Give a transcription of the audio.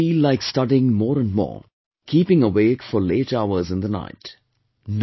Some of you feel like studying more and more, keeping awake for late hours in the night